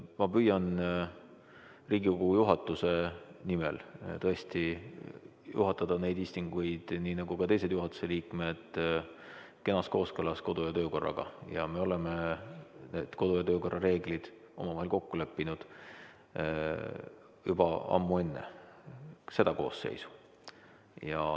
Ma püüan Riigikogu juhatuse nimel tõesti juhatada neid istungeid, nii nagu ka teised juhatuse liikmed, kenas kooskõlas kodu- ja töökorraga ja me oleme need kodu- ja töökorra reeglid omavahel kokku leppinud juba ammu enne seda koosseisu.